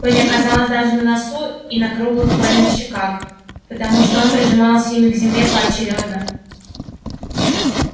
пыль оказалась даже на носу и на круглых колиных щеках потому что он прижимался ими к земле поочерёдно